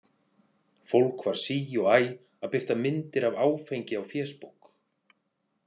Fólk var sí og æ að birta myndir af áfengi á fésbók.